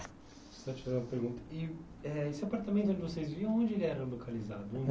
Eh esse apartamento onde vocês viviam, onde ele era localizado?